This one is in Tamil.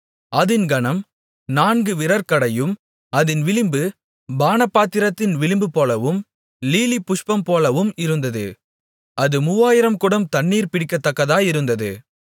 அதின் கனம் நான்கு விரற்கடையும் அதின் விளிம்பு பானபாத்திரத்தின் விளிம்புபோலவும் லீலிபுஷ்பம்போலவும் இருந்தது அது மூவாயிரம் குடம் தண்ணீர் பிடிக்கத்தக்கதாயிருந்தது